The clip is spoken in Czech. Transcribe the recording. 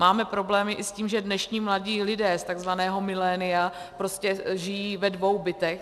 Máme problémy i s tím, že dnešní mladí lidé z takzvaného milénia prostě žijí ve dvou bytech.